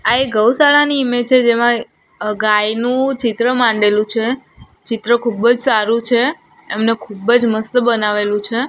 આ એક ગૌશાળા ની ઈમેજ છે જેમાં ગાયનું ચિત્ર માંડેલું છે ચિત્ર ખૂબ જ સારું છે એમને ખૂબ જ મસ્ત બનાવેલું છે.